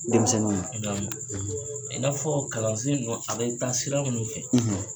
Denmisɛnninw kun . I n'a fɔ kalansen nunnu a be taa siran munnu fɛ